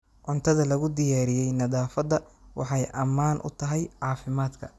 Cuntada lagu diyaariyey nadaafadda waxay ammaan u tahay caafimaadka.